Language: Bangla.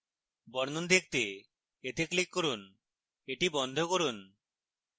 বর্ণন দেখতে এতে click করুন এটি বন্ধ করুন